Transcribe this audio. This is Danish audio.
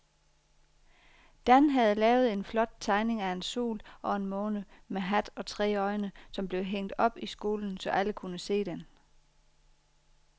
Dan havde lavet en flot tegning af en sol og en måne med hat og tre øjne, som blev hængt op i skolen, så alle kunne se den.